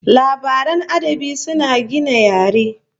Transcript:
Labaran adabi suna gina yare